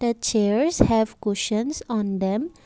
a chairs have questions on them.